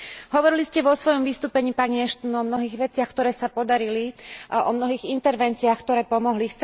Hovorili ste vo svojom vystúpení, pani Ashton, o mnohých veciach, ktoré sa podarili, o mnohých intervenciách, ktoré pomohli.